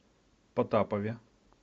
потапове